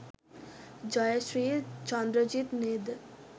ජය ශ්‍රී චන්ද්‍රජිත් නේද?